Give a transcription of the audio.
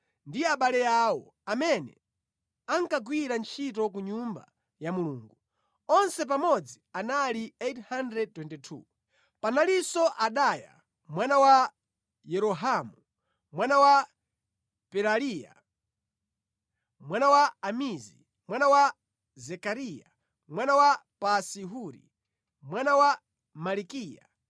ndi abale awo, amene ankagwira ntchito ku Nyumba ya Mulungu. Onse pamodzi anali 822. Panalinso Adaya mwana wa Yerohamu, mwana wa Pelaliya, mwana wa Amizi, mwana wa Zekariya, mwana wa Pasi-Huri, mwana wa Malikiya,